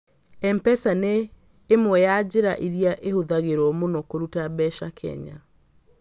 M-pesa nĩ ĩmwe ya njĩra iria ihũthagĩrũo mũno kũruta mbeca Kenya.